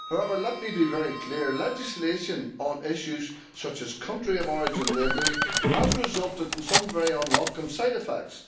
However, let me be very clear legislation on issues such as country of origin labelling has resulted in some very unwelcome side effects.